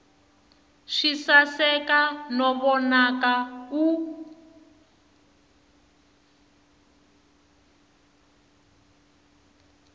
swi saseka no vonaka u